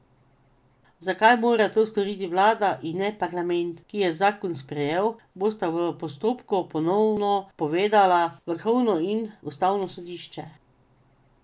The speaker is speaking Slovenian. Zakaj mora to storiti vlada in ne parlament, ki je zakon sprejel, bosta v postopku ponovno povedala vrhovno in ustavno sodišče.